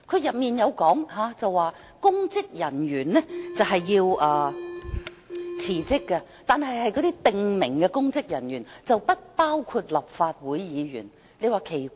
該條例訂明公職人員必須辭職，但只限於指明公職人員，不包括立法會議員。